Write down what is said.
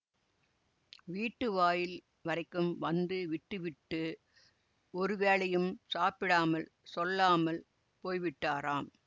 வீட்டு வாயில் வரைக்கும் வந்து விட்டுவிட்டு ஒரு வேளையும் சாப்பிடாமல் சொல்லாமல் போய்விட்டாராம்